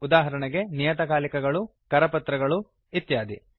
ಉದಾಹರಣೆಗೆ ನಿಯತಕಾಲಿಕಗಳು ಕರಪತ್ರಗಳು ಇತ್ಯಾದಿ